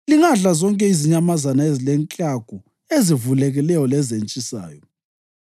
Lingadla zonke izinyamazana ezilenklagu ezivulekileyo lezentshisayo.